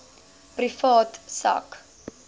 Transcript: privaat sak